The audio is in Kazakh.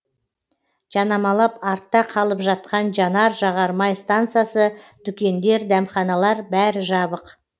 жанамалап артта қалып жатқан жанар жағар май стансасы дүкендер дәмханалар бәрі жабық